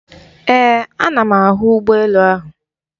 Ee, ana m ahụ ụgbọ elu ahụ.